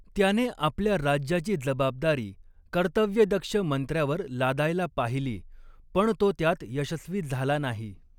त्याने आपल्या राज्याची जबाबदारी कर्तव्यदक्ष मंत्र्यावर लादायला पाहिली, पण तो त्यात यशस्वी झाला नाही.